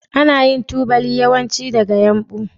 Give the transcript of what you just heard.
Ana yin tubali yawanci daga yumbu.